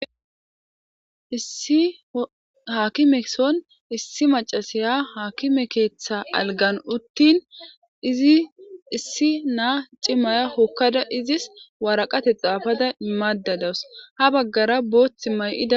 issi haakime son issi macasiya haakime keetha algan uttin izi issi naa cimaya hokkada izis waraqate xaafada imaadda dawus ha baggara boothimay7ida